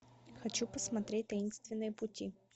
хочу посмотреть таинственные пути